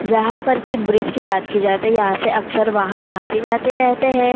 जहाँ पर की ब्रिज की बात की जाती यहाँ से वाहन अक्सर आते जाते रहते है।